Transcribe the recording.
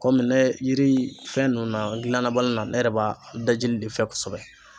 Kɔmi ne yiri fɛn nunnu na n gilannabaliya na ne yɛrɛ b'a dajili de fɛ kosɛbɛ.